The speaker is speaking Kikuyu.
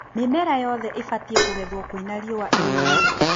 Mĩmera yothe ĩbatie kũgethwo kwĩna riũa. ĩũĩ